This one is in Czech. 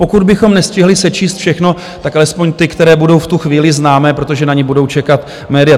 Pokud bychom nestihli sečíst všechno, tak alespoň ty, které budou v tu chvíli známé, protože na ně budou čekat média.